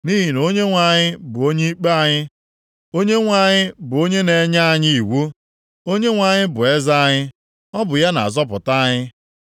Nʼihi na Onyenwe anyị bụ onye ikpe anyị. Onyenwe anyị bụ onye na-enye anyị iwu. Onyenwe anyị bụ eze anyị, ọ bụ ya na-azọpụta anyị.